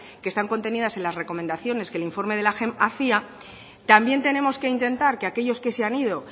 que están contenidas en las recomendaciones que el informe de la hacía también tenemos que intentar que aquellos que se han ido